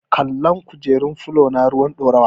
Kalan kujerun falona ruwan toka.